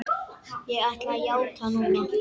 Ég ætla að játa núna.